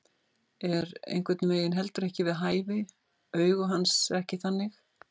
Er einhvern veginn heldur ekki við hæfi, augu hans ekki þannig.